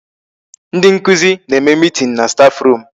Ndị nkụzi na-eme meeting na staff room.